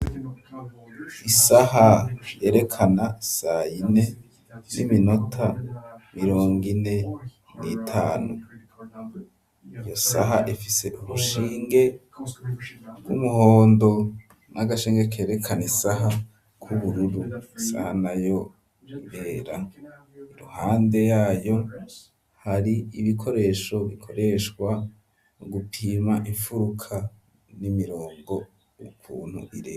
Isaha yerekana sayine, y'iminota mirongo ine n'itanu ,iyo saha ifise ubushinge bw'umuhondo ,n'agashinge kerekana isaha k'ubururu, isa na yo irera, iruhande yayo, hari ibikoresho bikoreshwa mu gupima infuruka, n'imirongo ukuntu ireha.